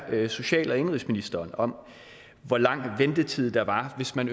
social og indenrigsministeren om hvor lang ventetid der var hvis man